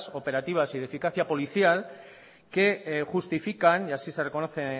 operativas y de eficacia policial que justifican y así se reconoce